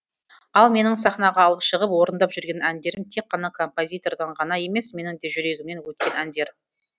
ал менің сахнаға алып шығып орындап жүрген әндерім тек қана композитордан ғана емес менің де жүрегімнен өткен әндер